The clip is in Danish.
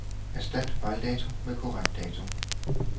Erstat fejldato med korrekt dato.